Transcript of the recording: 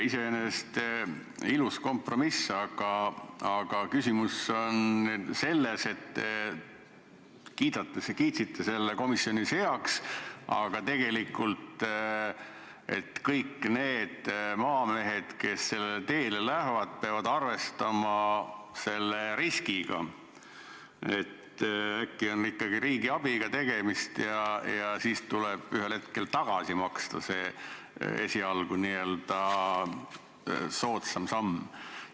Iseenesest ilus kompromiss, aga küsimus on selles, et kiitsite selle komisjonis heaks, ent tegelikul kõik need maamehed, kes sellele teele lähevad, peavad arvestama riskiga, et äkki on ikkagi tegu riigiabi nõuete rikkumisega ja siis tuleb ühel hetkel raha tagasi maksta, kuigi esilagu näis see võimalus soodne.